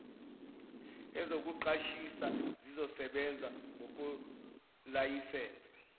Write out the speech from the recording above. ezokuqashisa zizosebenza ngokwelayisense